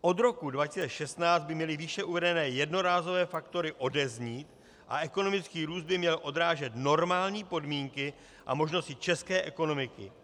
Od roku 2016 by měly výše uvedené jednorázové faktory odeznít a ekonomický růst by měl odrážet normální podmínky a možnosti české ekonomiky.